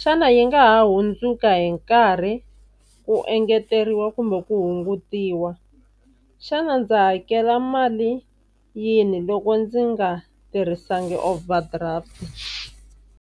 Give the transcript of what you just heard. xana yi nga ha hundzuka hi nkarhi ku engeteriwa kumbe ku hungutiwa. Xana ndza hakela mali yihi loko ndzi nga tirhisangi overdraft.